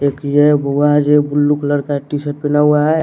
एक ये हुआ ये ब्लू कलर का टीसर्ट पीना हुआ है।